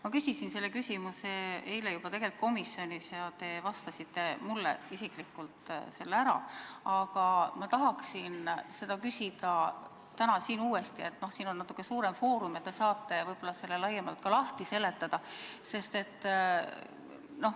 Ma küsisin selle küsimuse eile juba tegelikult komisjonis ja te vastasite mulle isiklikult selle ära, aga ma tahan seda küsida täna siin uuesti, sest siin on natuke suurem foorum ja te saate selle ka laiemalt lahti seletada.